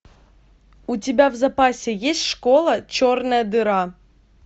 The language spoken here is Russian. у тебя в запасе есть школа черная дыра